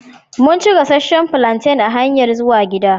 Mun ci gassacen plantain a hanyan zuwan gida.